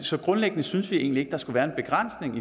så grundlæggende synes vi egentlig ikke der skal være en begrænsning